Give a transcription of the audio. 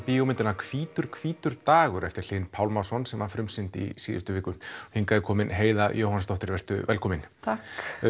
kvikmyndina hvítur hvítur dagur eftir Hlyn Pálmason sem var frumsýnd í síðustu viku hingað er komin Heiða Jóhannsdóttir vertu velkomin takk